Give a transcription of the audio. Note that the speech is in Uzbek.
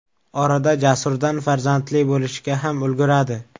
Orada Jasurdan farzandli bo‘lishga ham ulguradi.